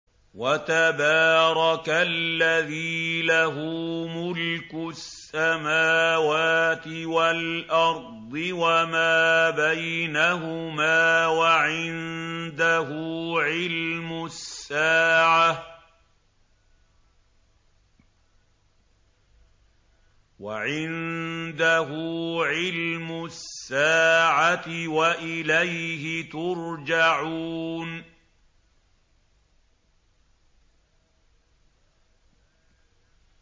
وَتَبَارَكَ الَّذِي لَهُ مُلْكُ السَّمَاوَاتِ وَالْأَرْضِ وَمَا بَيْنَهُمَا وَعِندَهُ عِلْمُ السَّاعَةِ وَإِلَيْهِ تُرْجَعُونَ